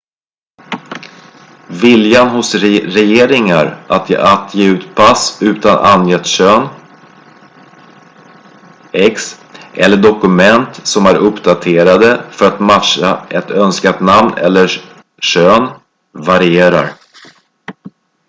viljan hos regeringar att ge ut pass utan angett kön x eller dokument som är uppdaterade för att matcha ett önskat namn eller kön varierar